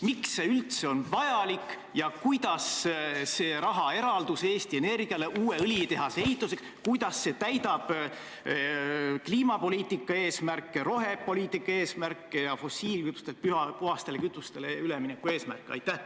Miks see üldse vajalik on ja kuidas see rahaeraldis Eesti Energiale uue õlitehase ehituseks täidab kliimapoliitika eesmärke, rohepoliitika eesmärke ja fossiilkütustelt puhastele kütustele ülemineku eesmärke?